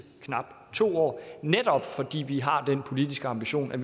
knap to år netop fordi vi har den politiske ambition at